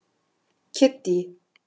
Kiddý